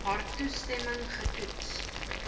haar toestemming getoets